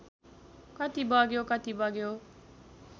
कति बग्यो कति बग्यो